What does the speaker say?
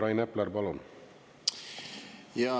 Rain Epler, palun!